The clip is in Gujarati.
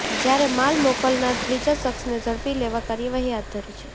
જ્યારે માલ મોકલનાર ત્રીજા શખ્સને ઝડપી લેવા કાર્યવાહી હાથ ધરી છે